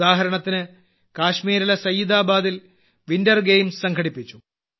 ഉദാഹരണത്തിന് കാശ്മീരിലെ സയ്യിദാബാദിൽ വിന്റർ ഗെയിംസ് സംഘടിപ്പിച്ചു